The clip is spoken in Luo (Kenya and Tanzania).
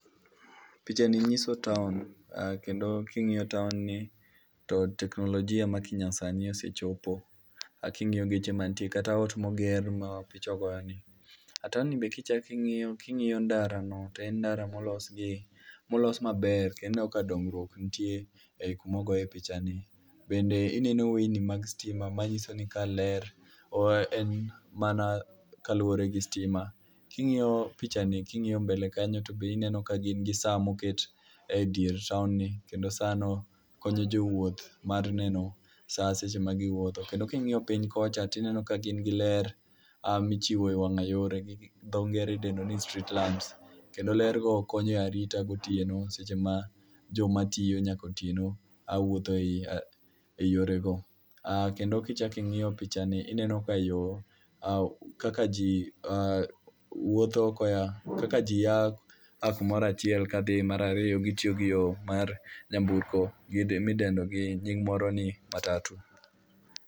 pichani ni nyiso town kendo ka ing'iyo tow ni to teknolojia ma nyasani osechopo ,kingiyo geche mantie kata geche kata ot moger ma picha ogoyoni kata odni be kichaki ng'iyo king'iyo ndarani en ndara molos maber kendo ineno ka dongruok nitie ei kuma ogoye pichani, bende ineno weyini mag sitima manyiso ni ka ler mana kaluwore mana gi sitima, kingiyo pcihani king'iyo mbele kanyo to be ineno ka gin gi saa moket dier town ni kendo saa no konyo jowuoth mar neno saa seche magi wuotho, kendo king'iyo piny kocha tiyudo ka gin gi ler michiwo e wanga yore midendo gi dho ngere ni street light kendo ler go konyo e arita gotieno seche ma joma tiyo nyaka otieno wuotho e yore go, kendo kichaki ng'iyo picha gi ineno kaka ji wuotho koya kaka ji a kumora chiel ka dhi ar ariyo ,gitiyo gi yo mar nyamburko midendo gi nying' moro ni matatu